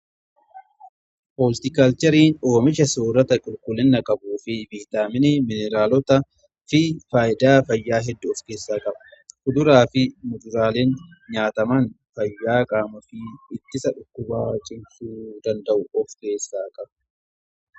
Holtikaalcheriin oomisha soorata qulqullina qabu fi viitaaminii, maayineraalota fi faayidaa fayyaa hedduu of keessaa qaba. Fuduraa fi muduraaleen nyaataman fayyaa qaamaa fi ittisa dhukkubaa cimsuu danda'u of keessaa qabu.